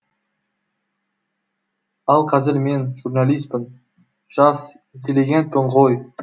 ал қазір мен журналиспін жас интеллигентпін ғой